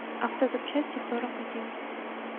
автозапчасти сорок один